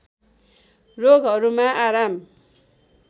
रोगहरूमा आराम